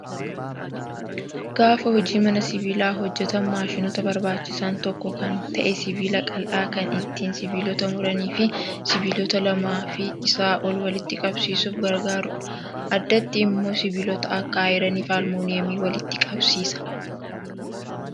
Gaafa hojii mana sibiilaa hojjatan maashinoota barbaachisan tokko kan ta'e sibiila qal'aa kan ittiin sibiilota muranii fi sibiilota lamaa fi isaa ol walitti qabsiisuuf gargaarudha. Addatti immoo sibiilota akka ayiranii fi aluminiyeemii walitti qabsiisa.